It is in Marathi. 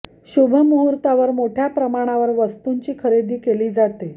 शुभ मुहूर्तावर मोठय़ा प्रमाणावर वस्तूंची खरेदी केली जाते